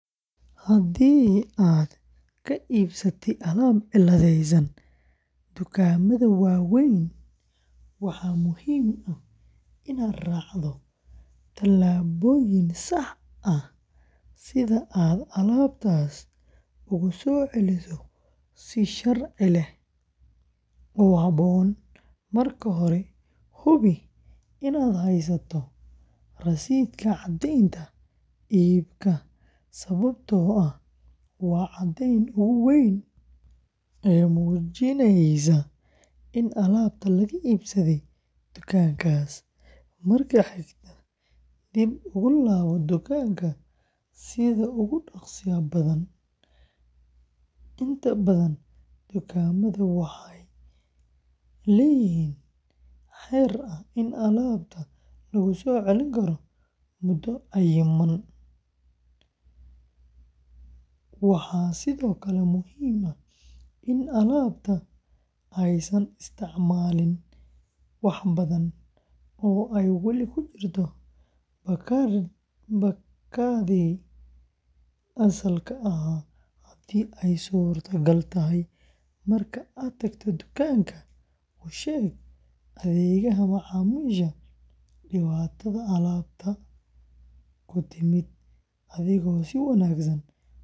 Haddii aad ka iibsatay alaab cilladaysan dukaamada waaweyn, waxaa muhiim ah inaad raacdo talaabooyin sax ah si aad alaabtaas ugu soo celiso si sharci ah oo habboon. Marka hore, hubi inaad haysato rasiidka caddeynta iibka, sababtoo ah waa caddeynta ugu weyn ee muujinaysa in alaabta laga iibsaday dukaankaas. Marka xigta, dib ugu laabo dukaanka sida ugu dhaqsaha badan, inta badan dukaamada waaweyn waxay leeyihiin xeer ah in alaabta lagu soo celin karo muddo cayiman. Waxaa sidoo kale muhiim ah in alaabta aysan isticmaalin wax badan, oo ay weli ku jirto baakaddii asalka ahaa haddii ay suuragal tahay. Marka aad tagto dukaanka, u sheeg adeegaha macaamiisha dhibaatada alaabta ku timid, adigoo si wanaagsan u sharaxaya.